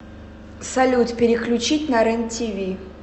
салют переключить на рен тиви